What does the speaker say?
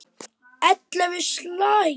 Ellefu slagir.